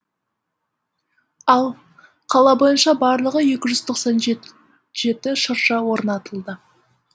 ал қала бойынша барлығы екі жүз тоқсан жеті шырша орнатылды